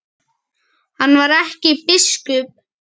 Hann var ekki biskup.